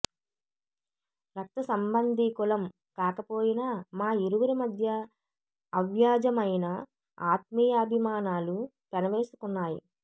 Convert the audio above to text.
రక్త సంబంధీకులం కాకపోయినా మా ఇరువురి మధ్య అవ్యాజమైన ఆత్మీయాభిమానాలు పెనవేసుకున్నాయి